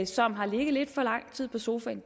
som har ligget lidt for lang tid på sofaen